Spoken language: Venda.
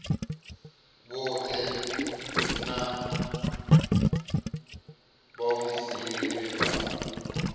vhoṱhe na vhaofisiri vhe vha